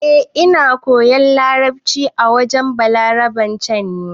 Eh, Ina koyan larabci a wurin Balaraben can ne.